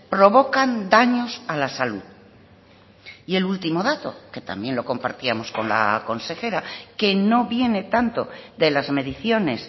provocan daños a la salud y el último dato que también lo compartíamos con la consejera que no viene tanto de las mediciones